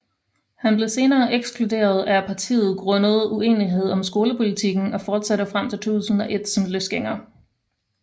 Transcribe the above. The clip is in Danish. Han blev senere ekskluderet af partiet grundet uenighed om skolepolitikken og fortsatte frem til 2001 som løsgænger